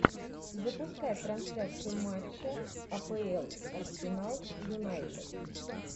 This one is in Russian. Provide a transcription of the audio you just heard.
запускай трансляцию матча апл арсенал юнайтед